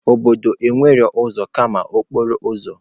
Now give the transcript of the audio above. Obodo nwere ụzọ kama okporo ụzọ.